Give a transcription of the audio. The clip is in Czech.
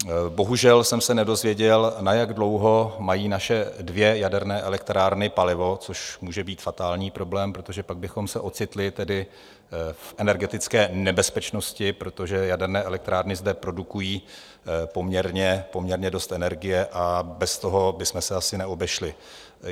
Bohužel jsem se nedozvěděl, na jak dlouho mají naše dvě jaderné elektrárny palivo, což může být fatální problém, protože pak bychom se ocitli tedy v energetické nebezpečnosti, protože jaderné elektrárny zde produkují poměrně dost energie a bez toho bychom se asi neobešli.